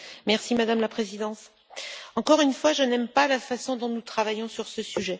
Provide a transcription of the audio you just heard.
Madame la Présidente, encore une fois, je n'aime pas la façon dont nous travaillons sur ce sujet.